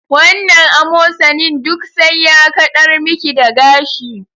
Wannan amosanin duk sai ya kaɗar miki da gashi